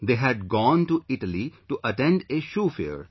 They had gone to Italy to attend a shoe fair